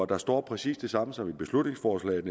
der står præcis det samme som i beslutningsforslaget